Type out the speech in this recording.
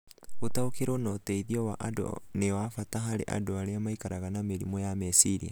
Gũtaũkĩrũo na ũteithio wa andũ nĩ wa bata harĩ andũ arĩa maikaraga na mĩrimũ ya meciria.